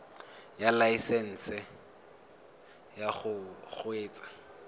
ya laesesnse ya go kgweetsa